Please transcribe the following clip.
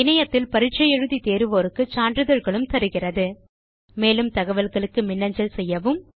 இணையத்தில் பரிட்சை எழுதி தேர்வோருக்கு சான்றிதழ்களும் தருகிறது மேலும் தகவல்களுக்கு மின்னஞ்சல் செய்யவும்